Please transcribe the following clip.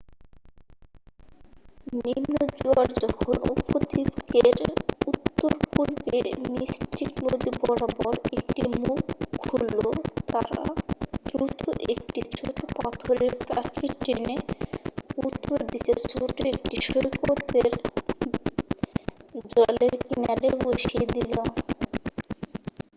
নিম্ন জোয়ার যখন উপদ্বীপের উত্তর-পূর্বে মিস্টিক নদী বরাবর একটি মুখ খুলল তারা দ্রুত একটি ছোট পাথরের প্রাচীর টেনে উত্তর দিকের ছোট একটি সৈকতের জলের কিনারে বসিয়ে দিল